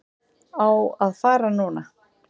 Á að fara núna.